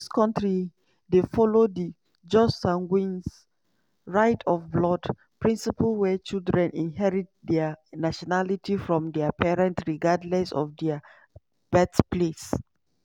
these kontri dey follow di jus sanguinis (right of blood) principle wia children inherit dia nationality from dia parents regardless of dia birthplace.